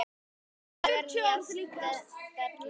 Þetta lag er nýjasta dellan.